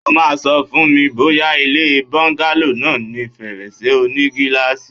O máa Sọ fún mi bóyá ilé bọ́ńgálò náà ní fèrèsé oní gíláàsì.!